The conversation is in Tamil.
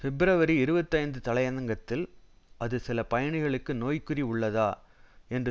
பிப்ரவரி இருபத்தி ஐந்து தலையங்கத்தில் அது சில பயணிகளுக்கு நோய்க்குறி உள்ளதா என்று